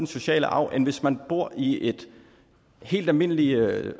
sociale arv end hvis man bor i et helt almindeligt